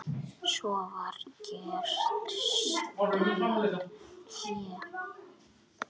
Svo var gert stutt hlé.